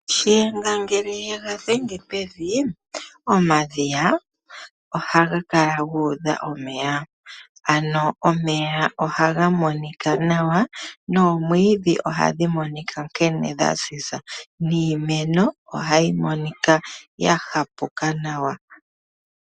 Shiyenga ShaNangombe ngele yega dhenge pevi omadhiya ohaga kala guudha omeya. Ano omeya ohaga monika nawa, noomwiidhi ohadhi monika nkene dha ziza. Niimeno ohayi monika ya hapuka nawa.